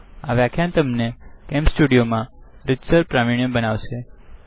આ વ્યાખ્યાન તમને CamStudioકેમ સ્ટુડીઓમાં રીતસર પ્રક્રિયા બતાવશે